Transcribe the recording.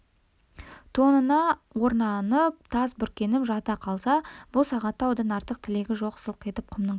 тонына оранып тас бүркеніп жата қалса бұл сағатта одан артық тілегі жоқ сылқ етіп құмның үстіне